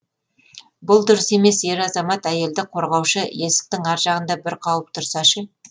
бұл дұрыс емес ер азамат әйелді қорғаушы есіктің ар жағында бір қауіп тұрса ше